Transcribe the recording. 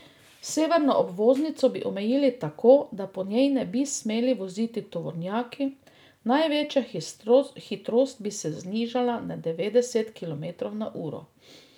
Severno obvoznico bi omejili tako, da po njej ne bi smeli voziti tovornjaki, največja hitrost bi se znižala na devetdeset kilometrov na uro.